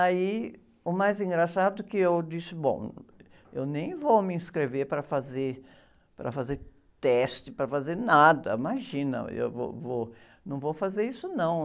Aí, o mais engraçado, que eu disse, bom, eu nem vou me inscrever para fazer, para fazer teste, para fazer nada, imagina, eu vou, vou, não vou fazer isso não.